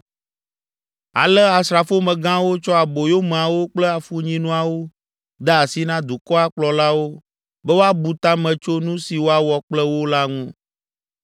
Ale asrafomegãwo tsɔ aboyomeawo kple afunyinuawo de asi na dukɔa kplɔlawo be woabu ta me tso nu si woawɔ kple wo la ŋu.